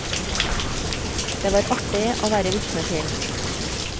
Det var artig å være vitne til.